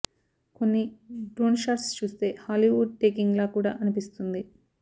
కొన్ని drone shots చూస్తే Hollywood taking లా కూడా అనిపిస్తుంది